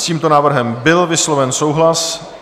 S tímto návrhem byl vysloven souhlas.